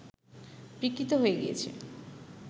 বিকৃত হয়ে গিয়েছে